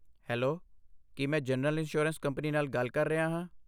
Hello, ਕੀ ਮੈਂ general insurance company ਨਾਲ ਗੱਲ ਕਰ ਰਿਹਾ ਹਾਂ?